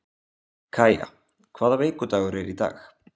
Kaía, hvaða vikudagur er í dag?